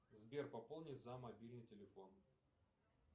сбер пополни за мобильный телефон